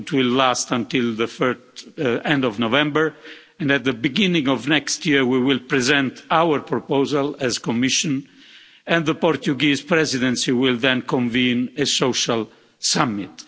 It will last until the end of November and at the beginning of next year we will present our proposal as the Commission and the Portuguese Presidency will then convene a social summit.